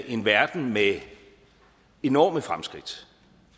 en verden med enorme fremskridt